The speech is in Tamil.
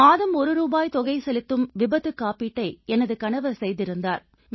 மாதம் ஒரு ரூபாய் தொகை செலுத்தும் விபத்துக்காப்பீட்டை எனது கணவர் செய்திருந்தார்